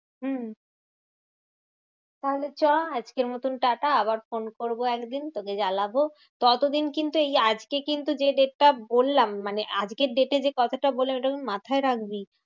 হম তাহলে চ আজকের মতন টাটা। আবার ফোন করবো একদিন তোকে জ্বালাবো। ততদিন কিন্তু এই আজকে কিন্তু যে date টা বললাম, মানে আজকের date এ যে কথাটা বললাম ওটা মাথায় রাখবি।